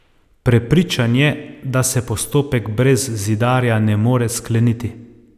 Prepričan je, da se postopek brez Zidarja ne more skleniti.